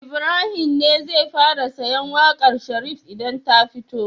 Ibrahim ne zai fara sayen waƙar Sharif idan ta fito